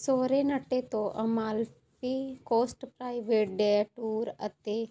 Sorrento ਤੋਂ Amalfi coast private day tour ਅਤੇ